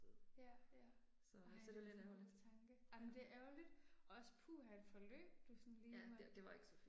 Ja, ja. Ej en sørgelig tanke. Ej men det er ærgerligt. Også puha et forløb du sådan lige måtte